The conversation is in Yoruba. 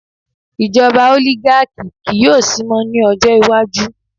ijoba oligaki ki yo sí mo ni ọjọ iwaju